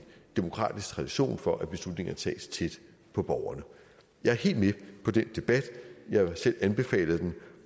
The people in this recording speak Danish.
demokratisk tradition for at beslutninger tages tæt på borgerne jeg er helt med på den debat jeg har selv anbefalet den